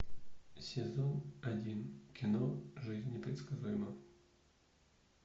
сезон один кино жизнь непредсказуема